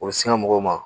O bɛ sin ka mɔgɔw ma